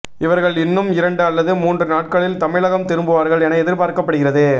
இவர்கள் இன்னும் இரண்டு அல்லது மூன்று நாட்களில் தமிழகம் திரும்புவார்கள் என எதிர்பார்க்கப்படுகிறது